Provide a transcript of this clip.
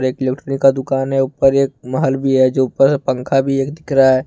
एक का दुकान है ऊपर एक माल भी है जो ऊपर पंखा भी एक दिख रहा है।